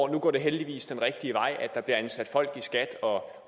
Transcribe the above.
nu går det heldigvis den rigtige vej at der bliver ansat folk i skat og